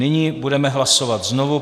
Nyní budeme hlasovat znovu.